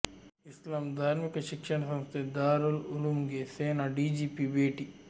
ಇಸ್ಲಾಂ ಧಾರ್ಮಿಕ ಶಿಕ್ಷಣ ಸಂಸ್ಥೆ ದಾರುಲ್ ಉಲೂಮ್ಗೆ ಸೇನಾ ಡಿಜಿಪಿ ಭೇಟಿ